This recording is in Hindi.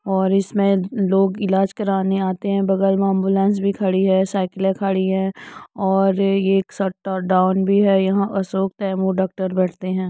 और इसमें लोग इलाज कारने आते हैं बगल में एम्बुलेंस भी खड़ी है साइकिले भी खड़ी है और ये शटर डाउन भी है यहाँ अशोक तैमूर डॉक्टर बैठते हैं।